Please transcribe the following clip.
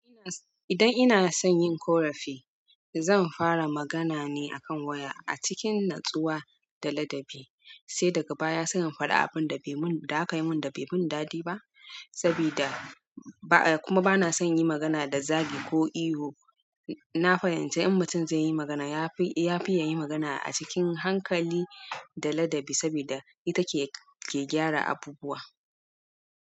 Idan ina son yin ƙorafi, zan fara magana ne akan waya a cikin natsuwa da ladabi, sai daga baya sai in faɗa abun da aka mun bai min daɗi ba sabida, kuma bana son yin magana da zagi ko ihu. Na fahimci in mutum zai yi magana, ya fi ya yi magana a cikin hankali da ladabi, saboda ita ce ke gyara abubuwa.